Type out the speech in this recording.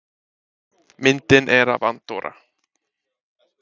Myndin er af Andorra.